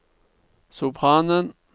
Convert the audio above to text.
sopranen